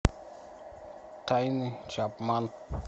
тайны чапман